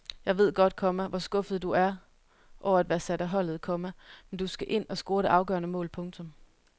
Jeg ved godt, komma hvor skuffet du er over at være sat af holdet, komma men du skal ind og score det afgørende mål. punktum